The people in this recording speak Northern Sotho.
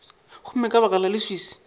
gomme ka baka la leswiswi